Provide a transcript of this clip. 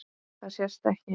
Það sést ekki.